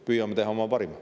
Püüame teha oma parima.